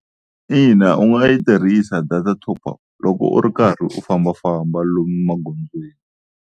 Ina u nga yi tirhisa data top-up loko u ri karhi u fambafamba lomu magondzweni.